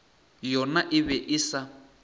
yona e be e sa